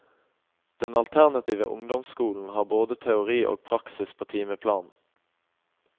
Den alternative ungdomsskolen har både teori og praksis på timeplanen.